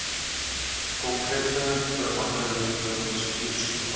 konkrete veranderde bestuursprogramme